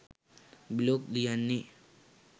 blog ලියන්නේ